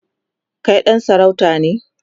Kai ɗan sarauta ne?